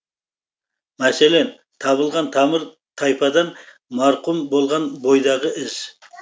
мәселен табылған тамыр тайпадан марқұм болған бойдағы із